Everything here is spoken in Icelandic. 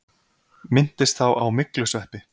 Minntist þá á myglusveppi.